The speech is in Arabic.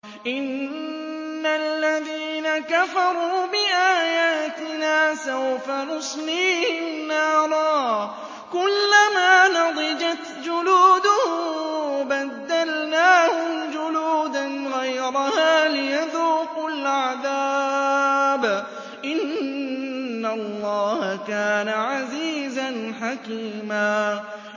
إِنَّ الَّذِينَ كَفَرُوا بِآيَاتِنَا سَوْفَ نُصْلِيهِمْ نَارًا كُلَّمَا نَضِجَتْ جُلُودُهُم بَدَّلْنَاهُمْ جُلُودًا غَيْرَهَا لِيَذُوقُوا الْعَذَابَ ۗ إِنَّ اللَّهَ كَانَ عَزِيزًا حَكِيمًا